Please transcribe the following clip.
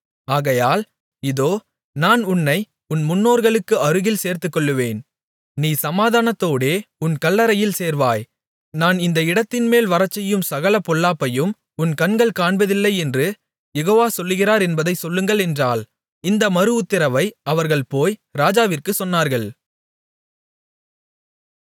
ஆகையால் இதோ நான் உன்னை உன் முன்னோர்களுக்கு அருகில் சேர்த்துக்கொள்ளுவேன் நீ சமாதானத்தோடே உன் கல்லறையில் சேர்வாய் நான் இந்த இடத்தின்மேல் வரச்செய்யும் சகல பொல்லாப்பையும் உன் கண்கள் காண்பதில்லை என்று யெகோவ சொல்லுகிறார் என்பதைச் சொல்லுங்கள் என்றாள் இந்த மறுஉத்திரவை அவர்கள் போய் ராஜாவிற்குச் சொன்னார்கள்